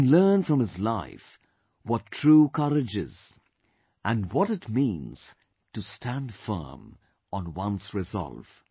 We can learn from his life what true courage is and what it means to stand firm on one's resolve